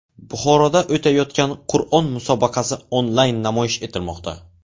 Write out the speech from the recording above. Buxoroda o‘tayotgan Qur’on musobaqasi onlayn namoyish etilmoqda.